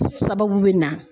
Sababu bɛ na